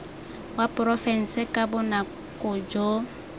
wa porofense ka bonako jo